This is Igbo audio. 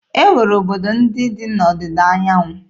E nwere obodo ndị dị n'Ọdịda anyanwụ.